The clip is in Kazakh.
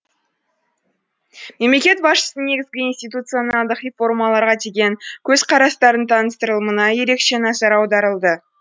мемлекет басшысының негізгі институционалдық реформаларға деген көзқарастарының таныстырылымына ерекше назар аударылды